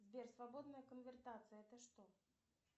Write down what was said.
сбер свободная конвертация это что